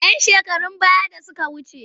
‘Yan shekarun baya da suka wuce.